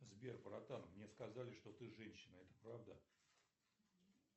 сбер братан мне сказали что ты женщина это правда